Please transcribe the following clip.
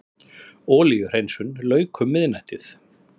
Olíuhreinsun lauk um miðnættið